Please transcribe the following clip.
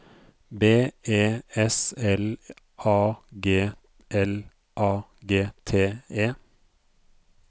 B E S L A G L A G T E